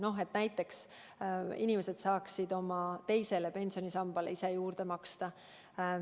No näiteks et inimesed saaksid oma teise pensionisambasse ise juurde maksta.